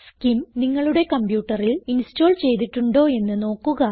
skim നിങ്ങളുടെ കംപ്യൂട്ടറിൽ install ചെയ്തിട്ടുണ്ടോ എന്ന് നോക്കുക